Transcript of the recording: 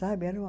Sabe era uma